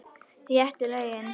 Réttu lögin.